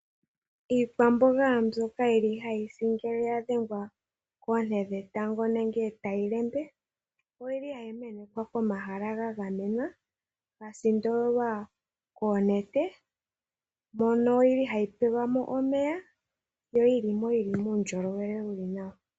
Iikwamboga mbyoka yili hayi si uuna yadhengwa koone dhetango oyili hayi kunwa pomahala gagamenwa ga sindololwa koonete mono yili hayi pewa omeya geli puundjolowele wuli nawa.